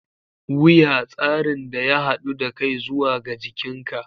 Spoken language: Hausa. Wuya: Tsarin da ya haɗu da kai zuwa ga jikinka